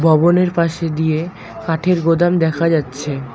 ভবনের পাশে ডিয়ে কাঠের গোদাম দেখা যাচ্ছে।